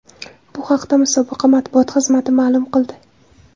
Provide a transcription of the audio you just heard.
Bu haqda musobaqa matbuot xizmati ma’lum qildi .